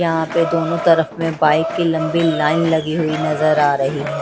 यहां पे दोनों तरफ में बाईक की लम्बी लाईन लगी हुई नजर आ रही है।